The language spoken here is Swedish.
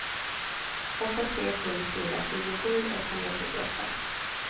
åtta tre sju fyra tjugosju etthundratrettioåtta